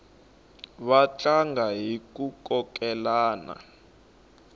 va tlanga hiku kokelana